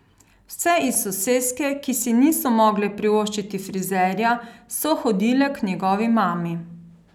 Vse iz soseske, ki si niso mogle privoščiti frizerja, so hodile k njegovi mami.